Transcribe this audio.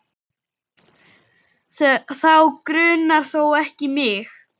Þá grunar þó ekki mig?